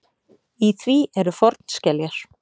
Í því eru fornskeljar.